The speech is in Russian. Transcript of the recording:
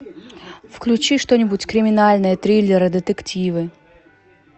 включи что нибудь криминальное триллеры детективы